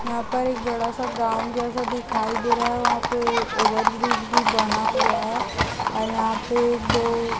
यहा पार एक बडा सा ग्राऊंड जैसा दिखाई दे रहा है वहा पे ओवरब्रिज भी बना हुआ है और यहाँ पे एक दो--